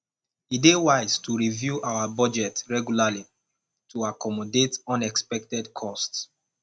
e dey wise to review our budget regularly to accommodate unexpected costs